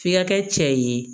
F'i ka kɛ cɛ ye